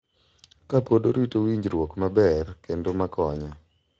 Ka pod orito winjruok maber kendo ma konyo.